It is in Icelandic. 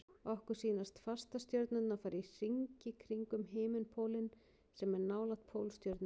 Okkur sýnast fastastjörnurnar fara í hringi kringum himinpólinn sem er nálægt Pólstjörnunni.